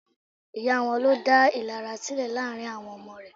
Ìyá wọn ló dá ìlara sílẹ̀ láàrín àwọn ọmọ rẹ̀.